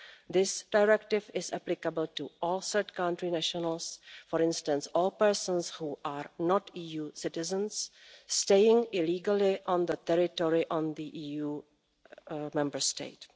This directive is applicable to all third country nationals, for instance all persons who are not EU citizens staying illegally on the territory of an EU Member State.